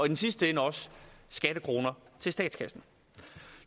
den sidste ende også skattekroner til statskassen